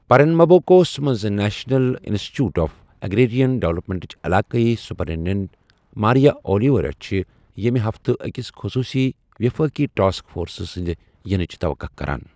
پرنمبوکوس منٛز national institute of agrarian ڈویلپمنٹٕچ علاقٲئی سپرنٹنڈنٹ، ماریا اولیویرا چھِ یمِہ ہفتہٕ أکِس خصوٗصی دِفٲقی ٹاسک فورس سنٛد یِنٕچ تَوقَع کران۔